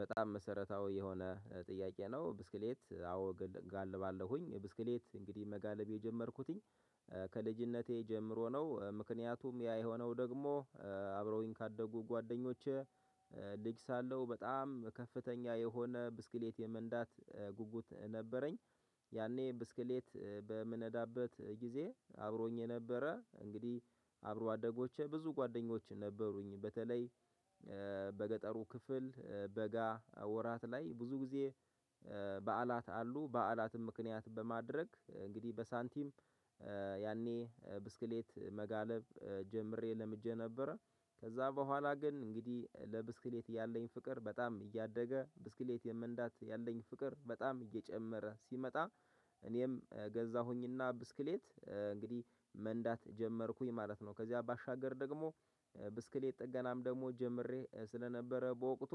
በጣም መሰረታዊ የሆነ ጥያቄ ነው? ብስክሌት አዎ እጋልባለሁኝ ብስክሌት እንግዲህ መጋለብ የጀመርኩትኝ ከልጅነቴ ጀምሮ ነው ምክንያቱም ያ የሆነው ደግሞ አብረውኝ ካደጉ ጓደኞቼ ልጅ ሳለው በጣም በከፍተኛ የሆነ ብስክሌት የመንዳት ጉጉት ነበረኝ። ያኔ ብስክሌት በምነዳበት ጊዜ አብሮኝ የነበረ እንግዲህ አብሮ አደጎቼ ብዙ ጓደኞቼ ነበሩኝ። በተለይ በገጠሩ ክፍል በጋ ወራት ላይ ብዙ ጊዜ በዓላት አሉ በዓላትን ምክንያት በማድረግ እንግዲህ በሳንቲም ያኔ ብስክሌት መጋለብ ጀምሬ ለምጀ ነበር። ከዛ ቦኋላ ግን እንግዲህ ለብስክሌት ያለኝ ፍቅር በጣም እያደገ ብስክሌት የመንዳት ያለኝ ፍቅር በጣም እየጨመረ ሲመጣ እኔም ገዛሁኝና ብስክሌት እንግዲህ መንዳት ጀመርኩኝ ማለት ነው። ከዚያ ባሻገር ደግሞ ብስክሌት ጥገናም ደግሞ ጀምሬ ስለነበረ በወቅቱ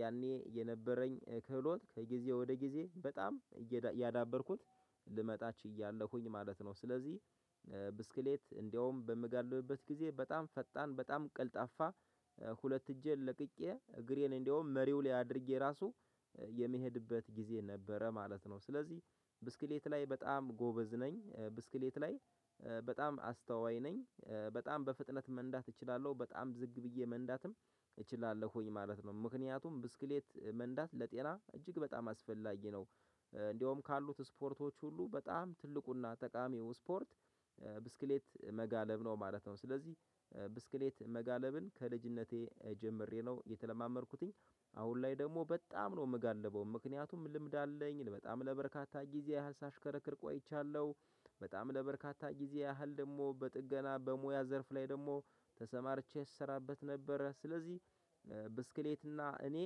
ያኔ የነበረኝ ክህሎት ከጊዜ ወደ ጊዜ በጣም እያዳበርኩት ልመጣ ችያለሁኝ ማለት ነው። ስለዚህ ብስክሌት እንደውም በምጋልብበት ጊዜ በጣም ፈጣን በጣም ቀልጣፋ። ሁለት እጄን ለቅቄ እግሬን እንደውም መሪው ላይ አድርጌ የራሱ የሚሄድበት ጊዜ ነበረ ማለት ነው። ስለዚህ ብስክሌት ላይ በጣም ጎበዝ ነኝ። ብስክሌት ላይ በጣም አስተዋይ ነኝ በጣም በፍጥነት መንዳት እችላለሁ በጣም ዝግ ብዬ መንዳትም እችላለሁኝ ማለት ነው። ምክንያቱም ብስክሌት መንዳት ለጤና እጅግ በጣም አስፈላጊ ነው። እንደውም ካሉት ስፖርቶች ሁሉ በጣም ትልቁና ጠቃሚው ስፖርት ብስክሌት መጋለብ ነው ማለት ነው። ስለዚህ ብስክሌት መጋለብን ከልጅነቴ ጀምሬ ነው የተለማመድኩትኝ። አሁን ላይ ደግሞ በጣም ነው የምጋልበው ምክንያቱም ልምድ አለኝ በጣም ለበርካታ ጊዜ ያህል ሳሽከረክር ቆይቻለሁ። በጣም ለበርካታ ጊዜ ያህል ደግሞ በጥገና በሙያ ዘርፍ ላይ ደግሞ ተሰማርቼ ስሰራበት ነበር። ስለዚህ ብስክሌት እና እኔ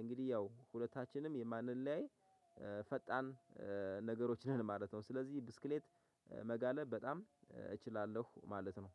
እንግዲህ ያው ሁለታችንም የማንለያይ ፈጣን ነገሮች ነን ማለት ነው። ስለዚህ ብስክሌት መጋለብ በጣም እችላለሁ ማለት ነው።